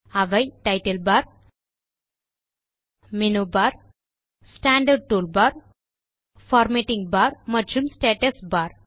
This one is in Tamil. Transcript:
அவை title bar menu bar standard tool bar formatting bar மற்றும் ஸ்டேட்டஸ் பார்